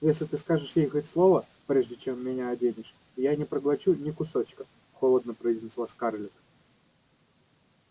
если ты скажешь ей хоть слово прежде чем меня оденешь я не проглочу ни кусочка холодно произнесла скарлетт